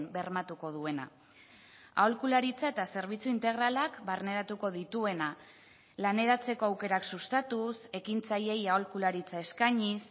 bermatuko duena aholkularitza eta zerbitzu integralak barneratuko dituena laneratzeko aukerak sustatuz ekintzaileei aholkularitza eskainiz